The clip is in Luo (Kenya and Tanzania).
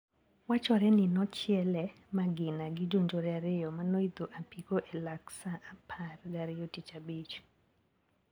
Wachore ni nochiele magina gi jonjore ariyo manoidho apiko elak saa apar gariyo tich abich.